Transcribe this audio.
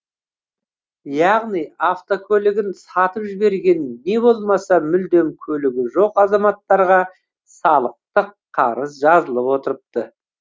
яғни автокөлігін сатып жіберген не болмаса мүлдем көлігі жоқ азаматтарға салықтық қарыз жазылып отырыпты